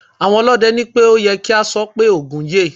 Àwọn ọlọ́dẹ ní pé ó ye kí a sọ pé "Ògún yè".